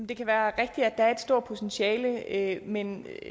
det kan være rigtigt at der er et stort potentiale men